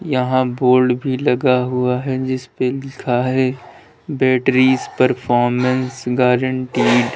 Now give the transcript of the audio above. यहां बोर्ड भी लगा हुआ है जिस पे लिखा है बैटरीज परफॉर्मेंस गारंटीड ।